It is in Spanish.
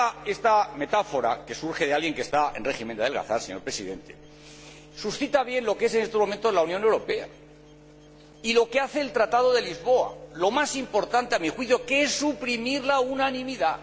Esta metáfora, que surge de alguien que está en régimen de adelgazamiento, señor Presidente, ilustra bien lo que es, en estos momentos, la Unión Europea y lo que hace el Tratado de Lisboa lo más importante a mi juicio, que es suprimir la unanimidad.